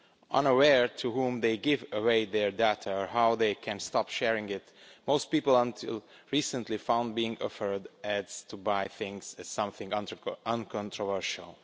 Unaware to whom they give away their data or how they can stop sharing it, most people until recently found being offered ads to buy things as something uncontroversial.